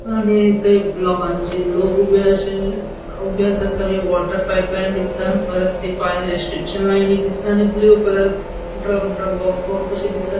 आणि ते लोकांची लोक ऊबे आशे ऊबे आसा दिसता. वोटर पाइप लाइन दिसता परत तै फायर इक्स्टेन्शन लाइन एक दिसता आणि blue colour drum drum box box कशे दिसता.